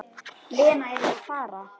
Lena yrði að fara.